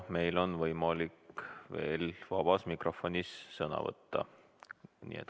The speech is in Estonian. Meil on võimalik veel vabas mikrofonis sõna võtta.